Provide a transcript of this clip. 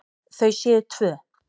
Þau séu tvö.